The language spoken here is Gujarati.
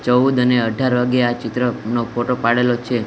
ચવુદ અને અઢાર વાગે આ ચિત્રનો ફોટો પાડેલો છે.